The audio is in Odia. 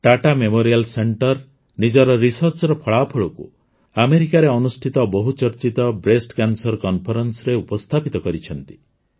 ଟାଟା ମେମୋରିଆଲ ସେଣ୍ଟର ନିଜର ରିସର୍ଚ୍ଚର ଫଳାଫଳକୁ ଆମେରିକାରେ ଅନୁଷ୍ଠିତ ବହୁଚର୍ଚ୍ଚିତ ବ୍ରେଷ୍ଟ କ୍ୟାନ୍ସର Conferenceରେ ଉପସ୍ଥାପିତ କରିଛନ୍ତି